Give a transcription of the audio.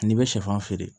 N'i bɛ sɛfan feere